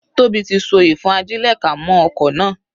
Tóbi tí so ìfọ́n-ajílẹ̀-ká mọ́ okò náà.